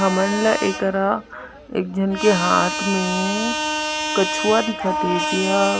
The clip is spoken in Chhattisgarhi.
हमन ला ए करा एक झन के हाथ में कछुआ दिखत हे जेह--